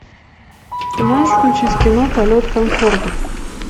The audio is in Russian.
ты можешь включить кино полет конкордов